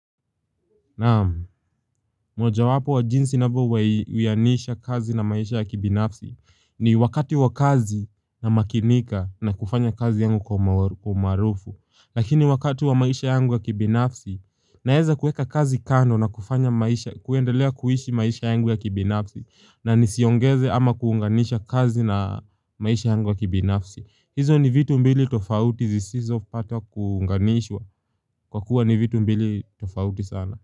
Naam, moja wapo wa jinsi nabouyainisha kazi na maisha ya kibinafsi ni wakati wa kazi na makinika na kufanya kazi yangu kwa umarufu. Lakini wakati wa maisha yangu ya kibinafsi, naeza kueka kazi kando na kufanya maisha, kuendelea kuhishi maisha yangu ya kibinafsi na nisiongeze ama kuunganisha kazi na maisha yangu ya kibinafsi. Hizo ni vitu mbili tofauti zisizo pata kuunganishwa kwa kuwa ni vitu mbili tofauti sana.